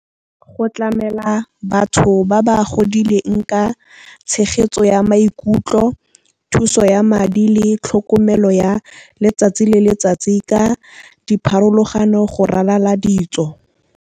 Go tlamela batho ba ba godileng ka tshegetso ya maikutlo, thuso ya madi le tlhokomelo ya letsatsi le letsatsi ka dipharologano go ralala ditso.